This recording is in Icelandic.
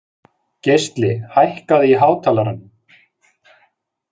Geisli, hækkaðu í hátalaranum.